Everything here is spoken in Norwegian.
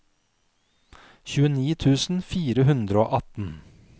tjueni tusen fire hundre og atten